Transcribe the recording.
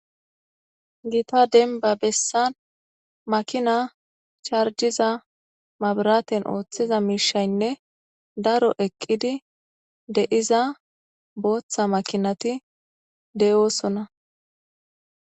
gita denba bessan makina chargiza mabiraten ooththiza miishaynne daro eqqidi de'iza booththa makinati de'oosona